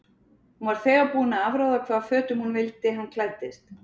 Hún var þegar búin að afráða hvaða fötum hún vildi hann klæddist.